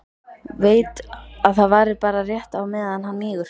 Veit að það varir bara rétt á meðan hann mígur.